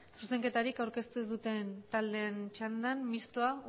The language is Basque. zuzenketarik aurkeztu ez duten taldeen txanda mistoa